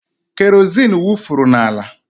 Kerozin wufuru n'ala.